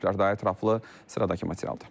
Daha ətraflı sıradakı materialda.